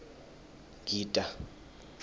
ngita